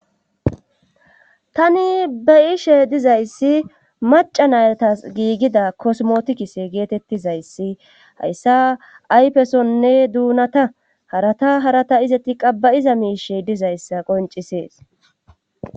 tani beyishe dizayssi maca naytas giigida kosmotikise geetettizayssi hayssa ayfesonne duunata harata harata izetti qabayiza miishe dizayssa qoncisees